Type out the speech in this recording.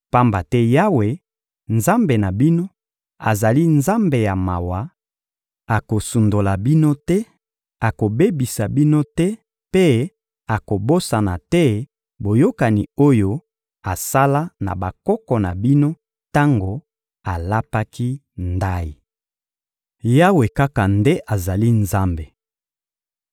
Pamba te Yawe, Nzambe na bino, azali Nzambe ya mawa, akosundola bino te, akobebisa bino te mpe akobosana te boyokani oyo asala na bakoko na bino tango alapaki ndayi. Yawe kaka nde azali Nzambe